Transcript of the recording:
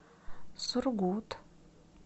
сургут